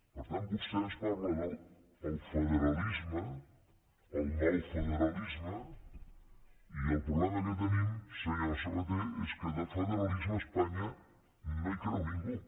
per tant vostè ens parla del federalisme el nou federalisme i el problema que tenim senyor sabaté és que en el federalisme a espanya no hi creu ningú